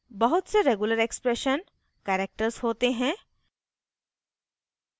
बहुत से regular expression characters होते हैं